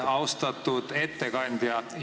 Austatud ettekandja!